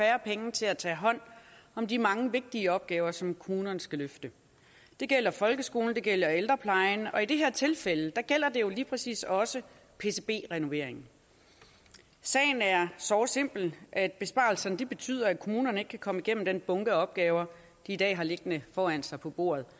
færre penge til at tage hånd om de mange vigtige opgaver som kommunerne skal løfte det gælder folkeskolen det gælder ældreplejen og i det her tilfælde gælder det jo lige præcis også pcb renovering sagen er såre simpel at besparelserne betyder at kommunerne ikke kan komme igennem den bunke af opgaver de i dag har liggende foran sig på bordet